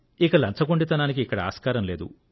ఇక లంచగొండితనానికి ఇక్కడ ఆస్కారం లేదు